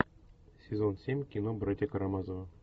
сезон семь кино братья карамазовы